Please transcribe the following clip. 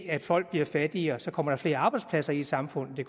at folk bliver fattigere så kommer der flere arbejdspladser i samfundet det